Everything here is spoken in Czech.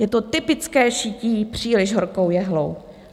Je to typické šití příliš horkou jehlou.